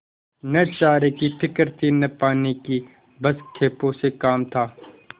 न चारे की फिक्र थी न पानी की बस खेपों से काम था